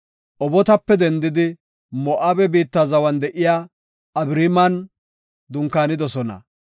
Obotape dendidi Moo7abe biitta zawan de7iya Abariiman dunkaanidosona.